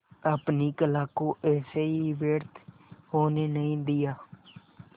अपने कला को ऐसे ही व्यर्थ होने नहीं दिया